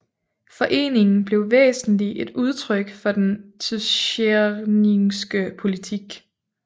Foreningen blev væsentlig et udtryk for den tscherningske politik